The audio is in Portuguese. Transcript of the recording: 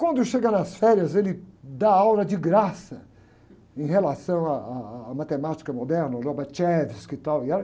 Quando chega nas férias, ele dá aula de graça em relação à, à, à matemática moderna, o, e tal, e era